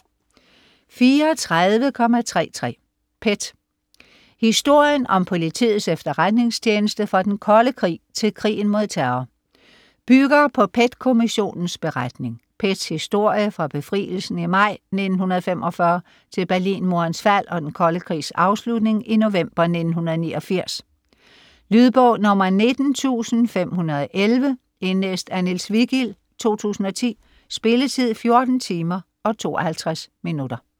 34.33 PET: historien om Politiets Efterretningstjeneste fra den kolde krig til krigen mod terror Bygger på PET-Kommissionens beretning. PETs historie fra befrielsen i maj 1945 til Berlinmurens fald og den kolde krigs afslutning i november 1989. Lydbog 19511 Indlæst af Niels Vigild, 2010. Spilletid: 14 timer, 52 minutter.